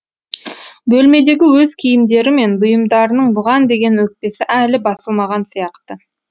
бөлмедегі өз киімдері мен бұйымдарының бұған деген өкпесі әлі басылмаған сияқты